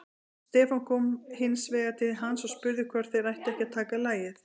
Stefán kom hins vegar til hans og spurði hvort þeir ættu ekki að taka lagið.